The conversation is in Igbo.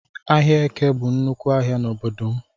Ahịa Eke bụ nnúkwú ahịa n'obodo m